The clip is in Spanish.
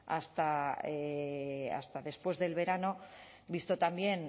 hasta después del verano visto también